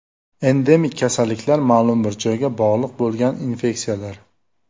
Endemik kasalliklar ma’lum bir joyga bog‘liq bo‘lgan infeksiyalar.